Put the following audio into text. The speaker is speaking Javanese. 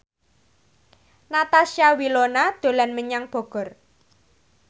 Natasha Wilona dolan menyang Bogor